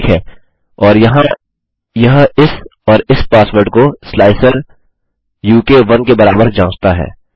ठीक है और यहाँ यह इस और इस पासवर्ड को स्लाइसरुक1 के बराबर जाँचता है